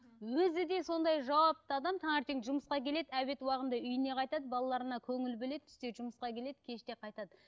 өзі де сондай жауапты адам таңертең жұмысқа келеді обед уағында үйіне қайтады балаларына көңіл бөледі түсте жұмысқа келеді кеште қайтады